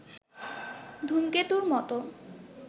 ধূমকেতুর মতো